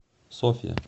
софья